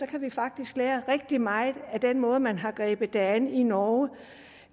kan vi faktisk lære rigtig meget af den måde man har grebet det an på i norge